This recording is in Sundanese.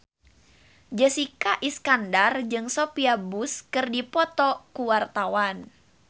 Jessica Iskandar jeung Sophia Bush keur dipoto ku wartawan